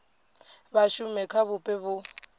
vha shume kha vhupo vhu